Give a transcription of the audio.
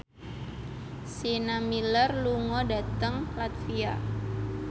Sienna Miller lunga dhateng latvia